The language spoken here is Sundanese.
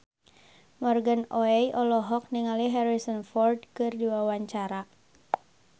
Morgan Oey olohok ningali Harrison Ford keur diwawancara